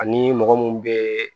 Ani mɔgɔ mun bɛ